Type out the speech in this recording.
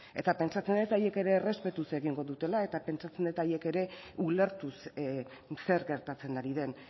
pentsatzen dut haiek ere errespetuz egingo dutela eta pentsatzen dut haiek ere ulertuz zer gertatzen ari den